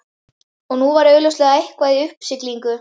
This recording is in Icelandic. En nú var augljóslega eitthvað í uppsiglingu.